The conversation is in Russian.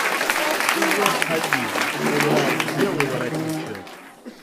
сезон один сериал белый воротничок